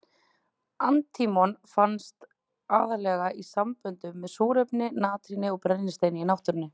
Antímon finnst aðallega í samböndum með súrefni, natríni og brennisteini í náttúrunni.